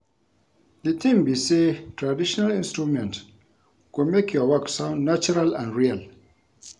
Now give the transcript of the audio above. The thing be say traditional instrument go make your work sound natural and real